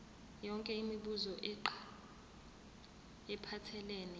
yonke imibuzo ephathelene